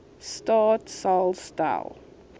staat sal stel